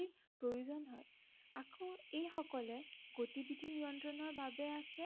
প্ৰয়োজন হয়। আকৌ এইসকলে গতিবিধি নিয়ন্ত্ৰণৰ বাবে আছে